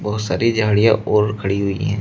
और सारी झाड़ियां और खड़ी हुई है।